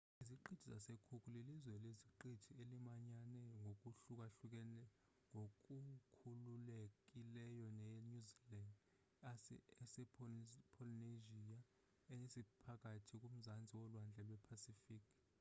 iziqithi zase-cook lilizwe leziqithi elimanyane ngokukhululekileyo ne-new zealan ese-polynesia esiphakathini ku-mzantsi wolwandle le-pacific